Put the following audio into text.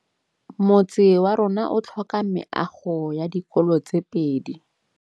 Motse warona o tlhoka meago ya dikolô tse pedi.